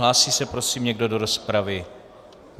Hlásí se prosím někdo do rozpravy?